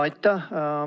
Aitäh!